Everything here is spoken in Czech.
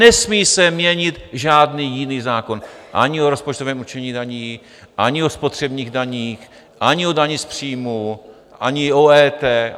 Nesmí se měnit žádný jiný zákon, ani o rozpočtovém určení daní, ani o spotřebních daních, ani o dani z příjmu, ani o EET.